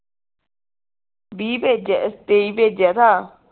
ਵੀਹ ਭੇਜਿਆ ਤੇਈ ਭੇਜਿਆ ਥਾ